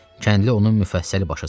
Kəndli onun müfəssəl başa saldı.